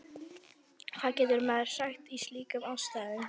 Hvað getur maður sagt í slíkum aðstæðum?